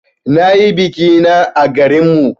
Na yi biki na à garin mu.